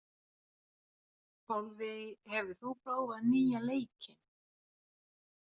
Álfey, hefur þú prófað nýja leikinn?